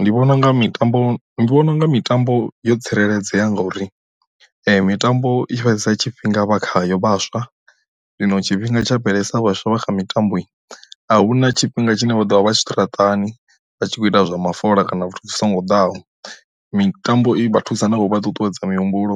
Ndi vhona unga mitambo ndi vhona unga mitambo yo tsireledzea ngauri, mitambo i fhedzesa tshifhinga vha khayo vhaswa zwino tshifhinga tsha bveledzisa vhaswa vha kha mitambo a hu na tshifhinga tshine vha ḓovha vha tshiṱaratani vha tshi kho ita zwa mafola kana muthu zwi songo ḓaho, mitambo i vha thusa na kho vha ṱuṱuwedza mihumbulo